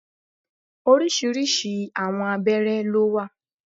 Orisirisi àwọn abéré ló wà.